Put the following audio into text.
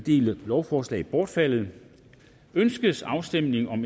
lovforslag bortfaldet ønskes afstemning om